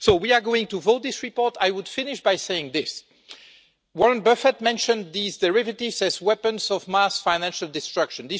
We are going to vote on this report, but I would finish by saying this Warren Buffett mentioned these derivatives as weapons of mass financial destruction.